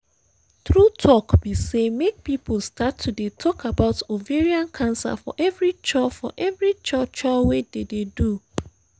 true talk be say make people start to dey talk about ovarian cancer for every cho for every cho cho wey dey dey do